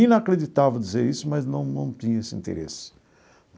Inacreditável dizer isso, mas não não tinha esse interesse.